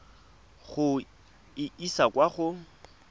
go e isa kwa go